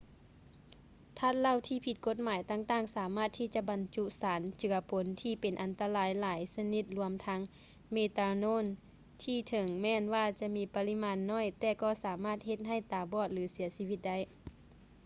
ທາດເຫຼົ້າທີ່ຜິດກົດໝາຍຕ່າງໆ ສາມາດທີ່ຈະບັນຈຸສານເຈືອປົນທີ່ເປັນອັນຕະລາຍຫຼາຍຊະນິດລວມທັງ ເມຕາໂນນ ທີ່ເຖິງແມ່ນວ່າຈະມີປະລິມານໜ້ອຍ ແຕ່ກໍສາມາດເຮັດໃຫ້ຕາບອດ ຫຼື ເສຍຊີວິດໄດ້